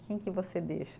Quem que você deixa?